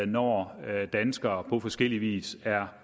når danskere på forskellig vis er